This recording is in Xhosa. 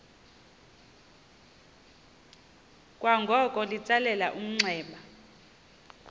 kwangoko litsalele umnxeba